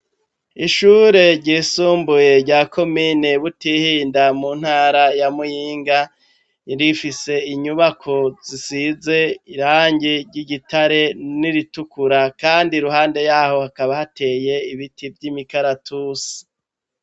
Ishure ryisumbuye rya komine butihinda mu ntara ya muyinga irifise inyubako zisize irangi ry'igitare n'iritukura kandi ruhande yaho hakaba hateye ibiti vy'imikaratusi.